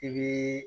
I bɛ